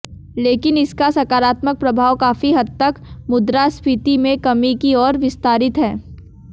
लेकिन इसका सकारात्मक प्रभाव काफी हद तक मुद्रास्फीति में कमी की ओर विस्तारित है